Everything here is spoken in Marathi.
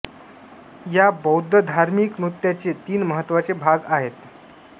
या बौद्ध धार्मिक नृत्याचे तीन महत्त्वाचे भाग आहेत